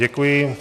Děkuji.